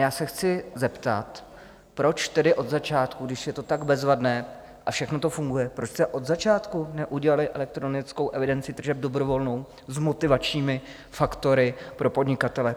Já se chci zeptat: Proč tedy od začátku, když je to tak bezvadné a všechno to funguje, proč jste od začátku neudělali elektronickou evidenci tržeb dobrovolnou s motivačními faktory pro podnikatele?